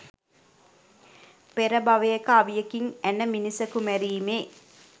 පෙර භවයක අවියකින් ඇන මිනිසකු මැරීමේ